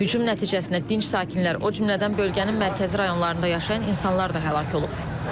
Hücum nəticəsində dinc sakinlər, o cümlədən bölgənin mərkəzi rayonlarında yaşayan insanlar da həlak olub.